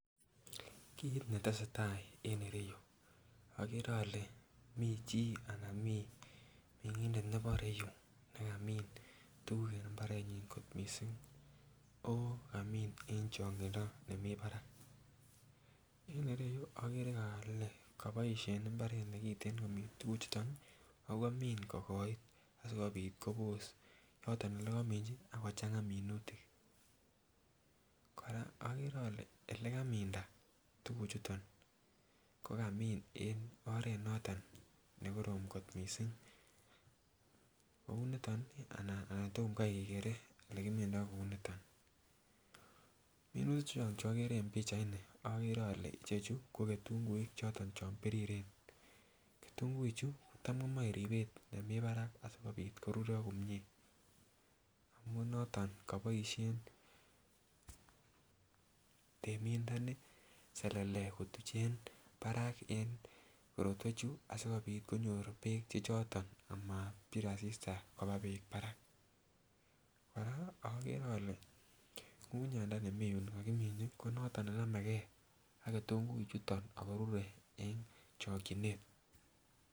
Kit netesetai en ereyu agere ale michi anan mi mengindet nebo ireyu nekamin tuguk eng imbarenyin kot mising oo kamin en chongindo nemi barak. En ireyu agere ale kaboisien imbaret ne kiten komin tukuchuto ago kaboisien imbaret ne kiten agomin kogoit sogopit kopos yoto olekaminji ak kochanga minutik. Kora agere ale olekaminda tuguchuto ko kamin en oret noto ne korom kot mising. Kounito anan tomngkai kekere olegimindo kou nito. Minuti chu agere eng pichaini agere ale chechu ko ketunguik choto chon biriren. Kitunguichu kotam komoe ribet nemi barak asigopit korurio komie. Amun noto kaboisien temindoni selele kotuchen korotwechu asigopit konyor beek che choto amabir asista koba beek barak. Kora agere ale ngungunyandani mi yu kagiminji konoto ne nameke ak kitunguichuto ago rure eng chokchinet.